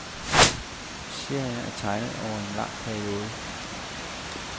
Serien er tegnet over en lang periode.